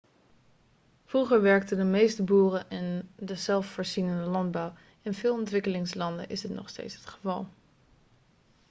vroeger werkten de meeste boeren in de zelfvoorzienende landbouw in veel ontwikkelingslanden is dit nog steeds het geval